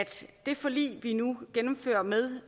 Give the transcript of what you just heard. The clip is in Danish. det forlig vi nu gennemfører med